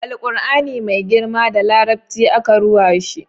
Alkur'ani mai girma da larabci aka ruwa shi